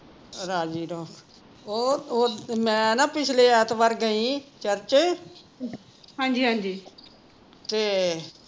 ਰਾਜ਼ੀ ਰਹੋ ਉਹ ਮੈਂ ਨਾ ਪਿਛਲੇ ਐਤਵਾਰ ਗਈ ਸੀ ਚਰਚ ਤੇ